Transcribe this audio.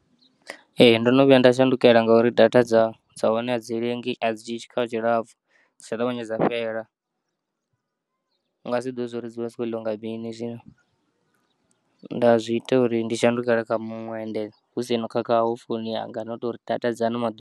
Ee, ndono vhuya nda shandukela ngauri data dza dza hone a dzi lengi a dzi dzhiyi tshikhala tshilapfu dzi ya ṱavhanya dza fhela, u nga si ḓivhe uri dzivha dzi kho ḽiwa nga mini zwino nda zwiita uri ndi shandukele kha muṅwe ende husina u khakha kha founu yanga no touri data dza ano maḓuvha.